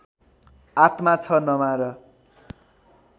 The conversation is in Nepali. आत्मा छ नमार